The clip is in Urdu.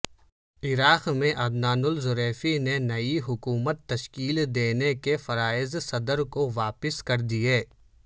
عراق میں عدنان الظریفی نے نئی حکومت تشکیل دینے کے فرئض صدر کو واپس کردیے